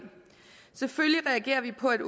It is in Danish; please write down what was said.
selvfølgelig reagerer vi på at